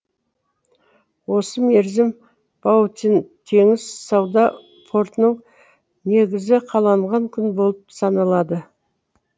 осы мерзім баутин теңіз сауда портының негізі қаланған күн болып саналады